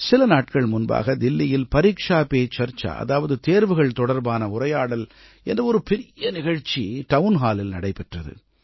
சில நாட்கள் முன்பாக தில்லியில் பரீக்ஷா பே சர்ச்சா அதாவது தேர்வுகள் தொடர்பான உரையாடல் என்ற ஒரு பெரிய நிகழ்ச்சி டவுன் ஹாலில் நடைபெற்றது